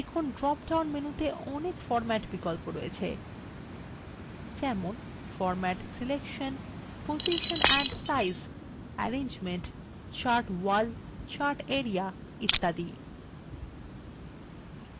দেখুন drop down মেনুতে অনেক বিন্যাস বিকল্প রয়েছে যেমন format selection position and size arrangement chart wall chart area ইত্যাদি